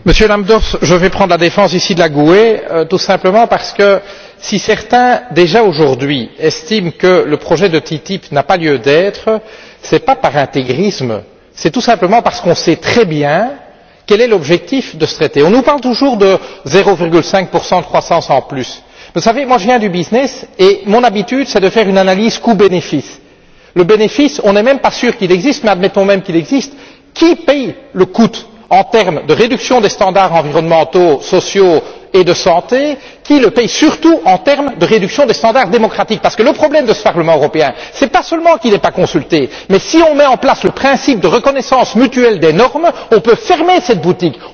Monsieur Lambsdorff, je vais prendre la défense ici du groupe confédéral de la Gauche unitaire européenne gauche verte nordique, tout simplement parce que si certains, déjà aujourd'hui, estiment que le projet de TTIP n'a pas lieu d'être, ce n'est pas par intégrisme, c'est tout simplement parce qu'on sait très bien quel est l'objectif de ce traité. On nous parle toujours de 0,5 de croissance en plus. Vous savez, je viens du business et mon habitude, c'est de faire une analyse coût bénéfice. Le bénéfice on n'est même pas sûr qu'il existe mais admettons même qu'il existe, qui paie le coût en termes de réduction des standards environnementaux, sociaux et de santé? Qui le paie surtout en termes de réduction des standards démocratiques? Parce que le problème de ce Parlement européen, ce n'est pas seulement qu'il n'est pas consulté mais si on met en place le principe de reconnaissance mutuelle des normes, on peut fermer cette boutique.